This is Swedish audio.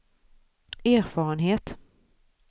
erfarenhet